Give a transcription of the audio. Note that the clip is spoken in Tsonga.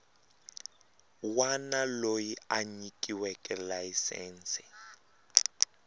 wana loyi a nyikiweke layisense